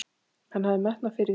Hann hafði metnað fyrir því.